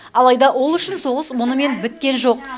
алайда ол үшін соғыс мұнымен біткен жоқ